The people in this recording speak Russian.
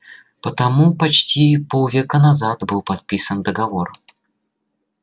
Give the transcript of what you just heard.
потому почти полвека назад был подписан договор